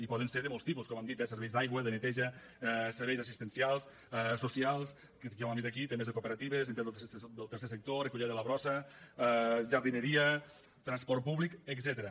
i poden ser de molts tipus com hem dit de serveis d’aigua de neteja serveis d’assistencials socials que ja ho hem dit aquí temes de cooperatives entitats del tercer sector recollida de la brossa jardineria transport públic etcètera